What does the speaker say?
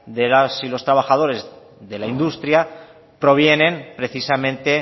de las y los trabajadores de la industria provienen precisamente